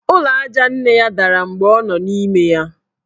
Ụlọ aja nne ya dara mgbe ọ nọ n' ime ya.